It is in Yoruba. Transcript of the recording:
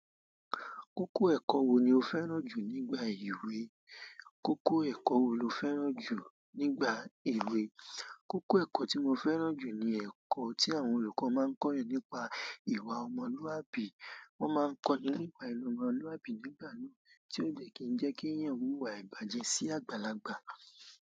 Kókó ẹ̀kọ́ wo ni o fẹ́ràn jù nígbà èwe? Kókó ẹ̀kọ́ wo lo fẹ́ràn jù nígbà èwe? Kókó ẹ̀kọ́ tí mo fẹ́ràn jù ni ẹ̀kọ́ tí àwọn olùkọ́ máa ń kọ́ èèyàn nípa ìwà ọmọlúàbí. Wọ́n máa ń kọ́ni nípa ìwà ọmọlúwàbí nígbà mii, tí ó jẹ́ kí ń jẹ́ kí èèyàn wúwa ìbàjẹ́ sí àgbàlagbà.